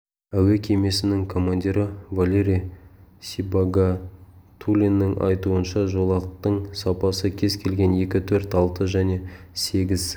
әуе кемесінің командирі валерий сибагатулиннің айтуынша жолақтың сапасы кез келген екі төрт алты және сегіз